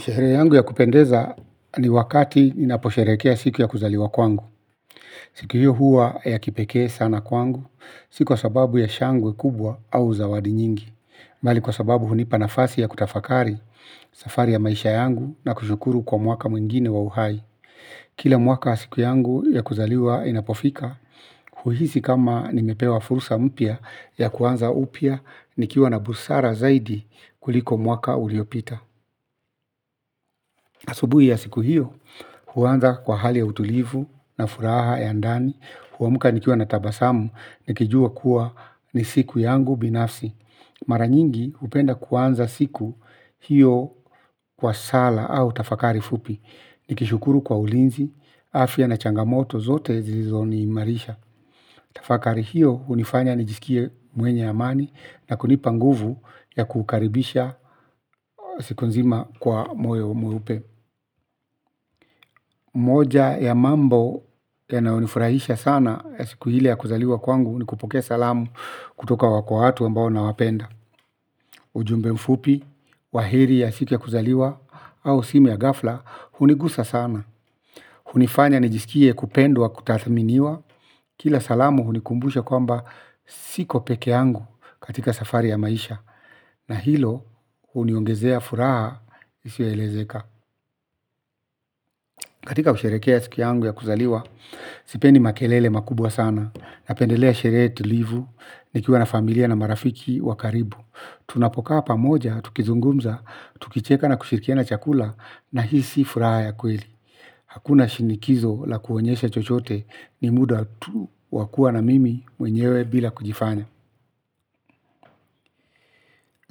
Sherehe yangu ya kupendeza ni wakati inaposherekea siku ya kuzaliwa kwangu. Siku hiyo huwa ya kipeke sana kwangu, siku wa sababu ya shangwe kubwa au zawadi nyingi. Mbali kwa sababu hunipa nafasi ya kutafakari, safari ya maisha yangu na kushukuru kwa mwaka mwingine wa uhai. Kila mwaka siku yangu ya kuzaliwa inapofika, huisi kama nimepewa fursa mpya ya kuanza upya nikiwa na busara zaidi kuliko mwaka uliopita. Asubuhi ya siku hiyo, huwanza kwa hali ya utulivu na furaha ya ndani, huwamuka nikiwa na tabasamu, nikijua kuwa ni siku yangu binafsi. Maranyingi, upenda kuanza siku hiyo kwa sala au tafakari fupi. Nikishukuru kwa ulinzi, afya na changamoto, zote zilizo ni marisha. Tafakari hiyo, unifanya nijisikie mwenye amani na kunipanguvu ya kukaribisha siku nzima kwa moyo mweupe. Moja ya mambo ya nayonifurahisha sana ya siku hile ya kuzaliwa kwangu ni kupokea salamu kutoka wako watu ambao na wapenda. Ujumbe mfupi, wahiri ya siku ya kuzaliwa au simu ya gafla, hunigusa sana. Hunifanya nijisikie kupendwa kutathaminiwa. Kila salamu hunikumbusha kwamba siko peke yangu katika safari ya maisha. Na hilo, huniongezea furaha isioelezeka. Katika kusherekea ya siku ya kuzaliwa sipendi makelele makubwa sana. Napendelea sherehe tulivu nikiwa na familia na marafiki wakaribu tunapokaa pamoja, tukizungumza tukicheka na kushirikiana chakula na hisi furaha ya kweli. Hakuna shinikizo la kuonyesha chochote. Ni muda tu wakua na mimi mwenyewe bila kujifanya.